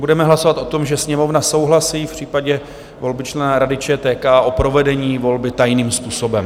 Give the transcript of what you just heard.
Budeme hlasovat o tom, že Sněmovna souhlasí v případě volby člena Rady ČTK s provedením volby tajným způsobem.